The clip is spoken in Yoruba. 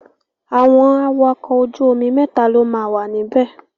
Àwọn awakọ̀ ojú omi mẹ́ta ló máa wà níbẹ̀.